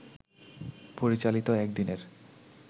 পরিচালিত একদিনের